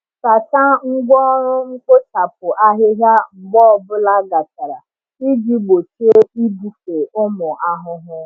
Sachaa ngwá ọrụ mkpochapụ ahịhịa mgbe ọ bụla gachara iji gbochie ibufe ụmụ ahụhụ.